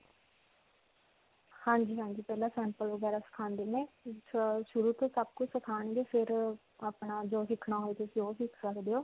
ਹਾਂਜੀ. ਹਾਂਜੀ. ਪਹਿਲਾਂ sample ਵਗੈਰਾ ਸਿਖਾਉਂਦੇ ਨੇ ਸ਼ੁਰੂ ਤੋਂ ਸਭ ਕੁਝ ਸਿਖਾਉਣਗੇ ਫਿਰ ਅਅ ਆਪਣਾ ਜੋ ਸਿਖਣਾ ਹੋਵੇ ਤੁਸੀਂ ਓਹ ਸਿਖ ਸਕਦੇ ਹੋ.